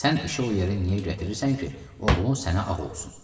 Axı sən işi o yerə niyə gətirirsən ki, oğlun sənə ağ olsun?